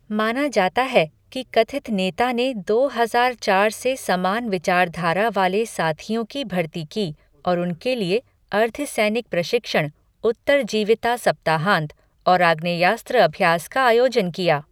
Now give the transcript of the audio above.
माना जाता है कि कथित नेता ने दो हजार चार से समान विचारधारा वाले साथियों की भर्ती की और उनके लिए अर्धसैनिक प्रशिक्षण, उत्तरजीविता सप्ताहांत और आग्नेयास्त्र अभ्यास का आयोजन किया।